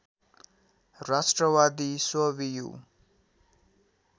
राष्ट्रवादी स्ववियु